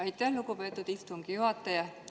Aitäh, lugupeetud istungi juhataja!